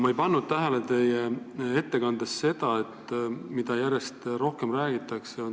Ma ei pannud teie ettekandes tähele seda, millest järjest rohkem räägitakse.